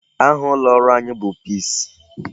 Aha ụlọ ọrụ anyị bụ PEACE.